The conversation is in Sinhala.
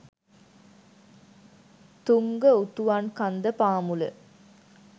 තුංග උතුවන්කන්ද පාමුල